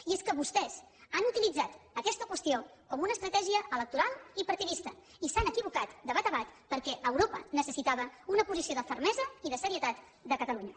i és que vostès han utilitzat aquesta qüestió com una estratègia electoral i partidista i s’han equivocat de bat a bat perquè europa necessitava una posició de fermesa i de serietat de catalunya